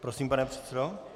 Prosím, pane předsedo.